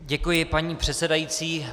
Děkuji, paní předsedající.